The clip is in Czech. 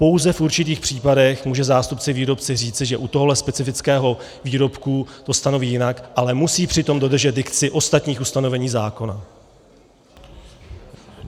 Pouze v určitých případech může zástupce výrobci říci, že u tohoto specifického výrobku to stanoví jinak, ale musí přitom dodržet dikci ostatních ustanovení zákona.